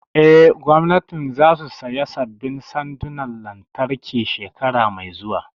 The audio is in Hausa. Eh, gwamnatin za su saya sabbin sandonan lantarki shekara mai zuwa